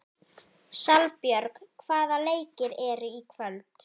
Salbjörg, hvaða leikir eru í kvöld?